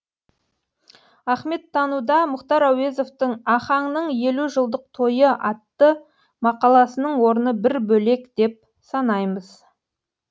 ахметтануда мұхтар әуезовтің ахаңның елу жылдық тойы атты мақаласының орны бір бөлек деп санаймыз